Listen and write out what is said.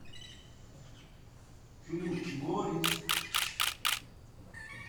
фильм горец